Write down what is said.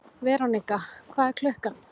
Verónika, hvað er klukkan?